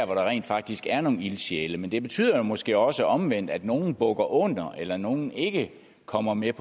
hvor der rent faktisk er nogle ildsjæle men det betyder måske også omvendt at nogle bukker under eller at nogle ikke kommer med